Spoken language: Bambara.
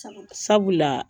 Sabula